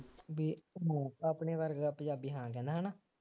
ਬਈ ਮੌਕਾ ਆਪਣੇ ਵਰਗਾ ਪੰਜਾਬੀ ਹਾਂ ਕਹਿੰਦਾ ਹਾਂ